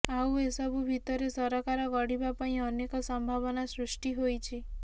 ଆଉ ଏସବୁ ଭିତରେ ସରକାର ଗଢ଼ିବା ପାଇଁ ଅନେକ ସମ୍ଭାବନା ସୃଷ୍ଟି ହୋଇଛି